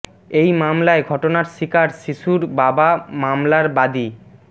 এই মামলায় ঘটনার শিকার শিশুর বাবা মামলার বাদী মো